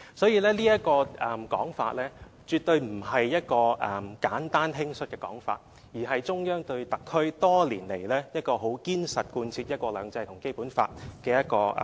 "所以，這種說法絕對不是一種簡單、輕率的說法，而是中央多年來對特區很堅實地貫徹"一國兩制"及《基本法》的一種